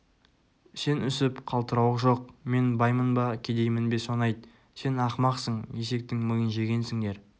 сен үсіп қалтырауық жоқ мен баймын ба кедеймін бе соны айт сен ақмақсың есектің миын жегенсіңдер